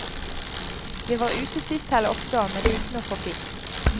Vi var ute sist helg også, men uten å få fisk.